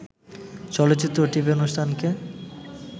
চলচ্চিত্র ও টিভি অনুষ্ঠানকে